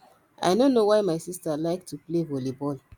i no know why my sister like to play volley ball